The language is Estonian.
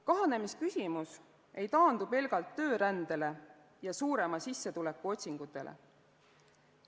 Kahanemisküsimus ei taandu pelgalt töörändele ja suurema sissetuleku otsingutele.